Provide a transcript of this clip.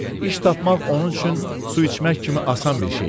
İş tapmaq onun üçün su içmək kimi asan bir şey idi.